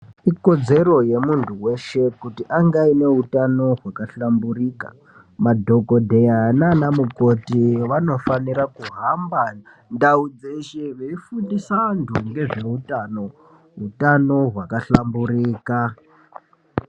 Ikodzero yemuntu weshe ,kuti ange aine utano hwakahlamburika, madhogodheya naanamukoti vanofanira kuhamba ndau dzeshe, veifundisa antu ngezveutano, utano hwakahlamburika .